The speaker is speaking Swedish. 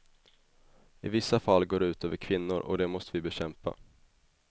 I vissa fall går det ut över kvinnor och det måste vi bekämpa.